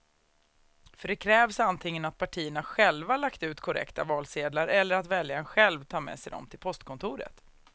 För det krävs antingen att partierna själva lagt ut korrekta valsedlar eller att väljaren själv tar med sig dem till postkontoret.